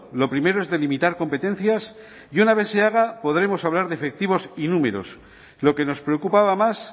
lo primero es delimitar competencias y una vez se haga podremos hablar de efectivos y números lo que nos preocupaba más